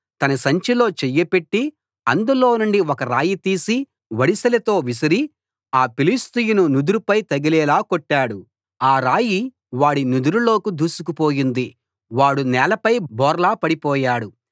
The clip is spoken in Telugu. తన సంచిలో చెయ్యి పెట్టి అందులోనుండి ఒక రాయి తీసి వడిసెలతో విసరి ఆ ఫిలిష్తీయుని నుదురుపై తగిలేలా కొట్టాడు ఆ రాయి వాడి నుదురులోకి దూసుకు పోయింది వాడు నేలపై బోర్లా పడిపోయాడు